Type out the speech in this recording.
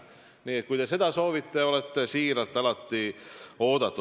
Nii et kui te seda soovite, siis olete siiralt alati oodatud.